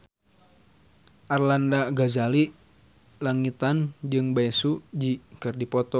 Arlanda Ghazali Langitan jeung Bae Su Ji keur dipoto ku wartawan